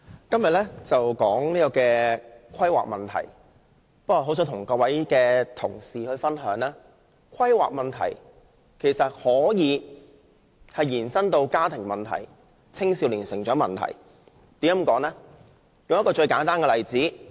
今天討論的是規劃問題，我很想與同事分享，其實規劃問題可以延伸至家庭問題及青少年成長問題，為何我會這樣說呢？